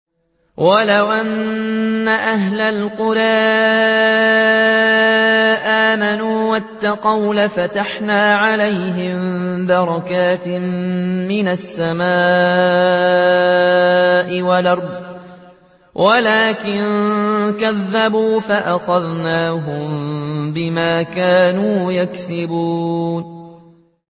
وَلَوْ أَنَّ أَهْلَ الْقُرَىٰ آمَنُوا وَاتَّقَوْا لَفَتَحْنَا عَلَيْهِم بَرَكَاتٍ مِّنَ السَّمَاءِ وَالْأَرْضِ وَلَٰكِن كَذَّبُوا فَأَخَذْنَاهُم بِمَا كَانُوا يَكْسِبُونَ